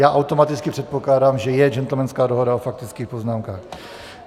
Já automaticky předpokládám, že je gentlemanská dohoda o faktických poznámkách.